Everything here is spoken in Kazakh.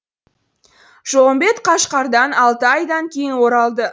жолымбет қашқардан алты айдан кейін оралды